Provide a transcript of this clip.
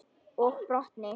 Og brotni.